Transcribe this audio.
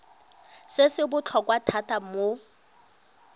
se se botlhokwa thata mo